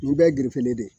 Nin bɛɛ ye gelefele de ye